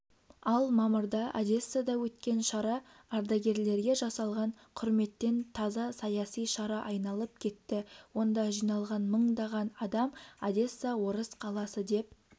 ал мамырда одессада өткен шара ардагерлерге жасалған құрметтен таза саяси шара айналып кетті онда жиналған мыңдаған адам одесса орыс қаласы деп